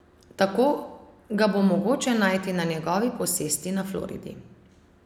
Tako ga bo mogoče najti na njegovi posesti na Floridi.